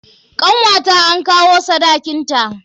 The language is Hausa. Kanwata an kawo sadakin ta.